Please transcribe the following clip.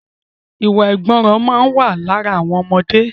Iwa àìgbọràn máa ma wà lára àwọn ọmọdé